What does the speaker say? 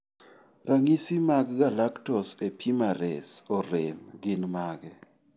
Ranyisi maggalactose epimerase orem gin mage?